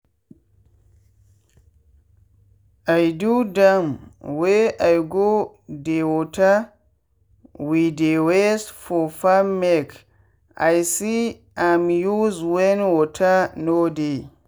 i do dam wey i go dey water wey dey waste for farmmake i see am use when water no dey.